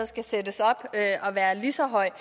skal sættes op og være lige så høj